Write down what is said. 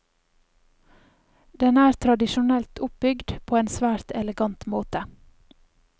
Den er tradisjonelt oppbygd, på en svært elegant måte.